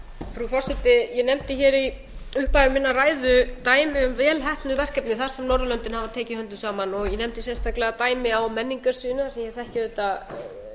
frú forseti ég nefndi hér í upphafi minnar ræðu dæmi um vel heppnuð verkefni þar sem norðurlöndin hafa tekið höndum saman ég nefndi sérstaklega dæmi á menningarsviðinu þar sem ég þekki auðvitað